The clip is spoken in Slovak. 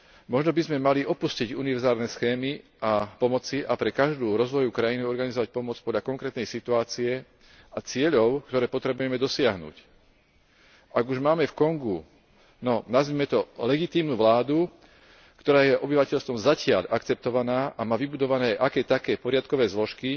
Možno by sme mali opustiť univerzálne schémy pomoci a pre každú rozvojovú krajinu organizovať pomoc podľa konkrétnej situácie a cieľov, ktoré potrebujeme dosiahnuť. Ak už máme v Kongu, no nazvime to legitímnu vládu, ktorá je obyvateľstvom zatiaľ akceptovaná a má vybudovaná aké také poriadkové zložky,